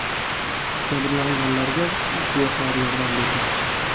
Jabrlanganlarga guvohlar yordam bergan.